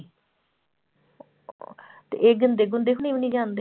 ਤੇ ਇਹ ਗਿੰਦੇ ਗੁੰਦੇ ਹੋਣੀ ਵੀ ਨੀ ਜਾਂਦੇ?